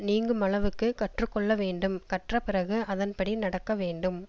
நீங்குமளவுக்குக் கற்று கொள்ள வேண்டும் கற்ற பிறகு அதன் படி நடக்க வேண்டும்